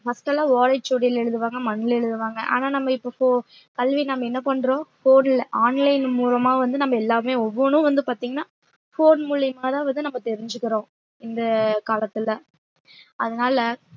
first எல்லாம் ஓலைச்சுவடியில எழுதுவாங்க மண்ல எழுதுவாங்க ஆனா நம்ம இப்ப pho~ கல்வி நம்ம என்ன பண்றோம் phone ல online மூலமா வந்து நம்ம எல்லாமே ஒவ்வொண்ணும் வந்து பாத்தீங்கன்னா phone மூலியமாதான் வந்து நம்ம தெரிஞ்சுக்கிறோம் இந்த காலத்துல அதனால